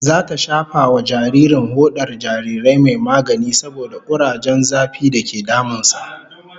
Zata shafa wa jaririn hodar jarirai mai magani saboda kurajen zafi dake damun sa